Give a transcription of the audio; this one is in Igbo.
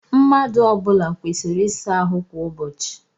Mmadụ ọ bụla kwesịrị ịsa ahụ kwa ụbọchị.